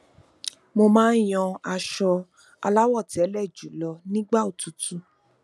mo máa n yan aṣọ aláwọtẹlẹ jùlọ nígbà òtútù